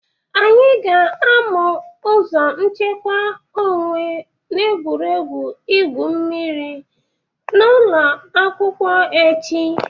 Anyị ga-amụ ụzọ nchekwa onwe n'egwuregwu igwu mmịrị n'ụlọakwụkwọ echi.